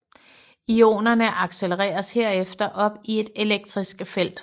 Ionerne accelereres herefter op i et elektrisk felt